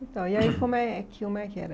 Então, e aí como é como é que era?